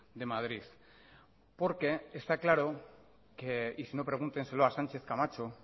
de madrid porque está claro que y sino pregúntenselo a sánchez camacho